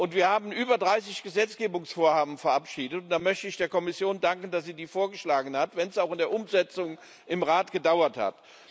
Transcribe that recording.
Wir haben über 30 Gesetzgebungsvorhaben verabschiedet, und da möchte ich der Kommission danken, dass sie die vorgeschlagen hat, wenn es auch in der Umsetzung im Rat gedauert hat.